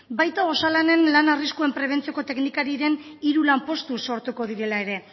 baita osalanen lan arriskuen prebentzioko teknikariren hiru lanpostu sortuko direla ere